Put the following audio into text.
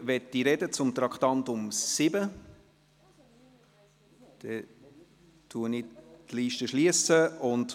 Wenn niemand zum Traktandum 7 sprechen möchte, schliesse ich die Rednerliste.